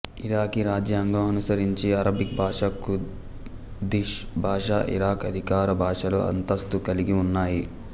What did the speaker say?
Iraqi రాజ్యాంగం అనుసరించి Arabic భాష కుర్దిష్ భాష ఇరాక్ అధికార భాషల అంతస్థు కలిగి ఉన్నాయి